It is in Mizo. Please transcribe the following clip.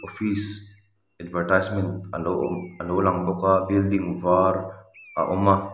office advertisement a lo awm a lo lang bawk a building var a awm a.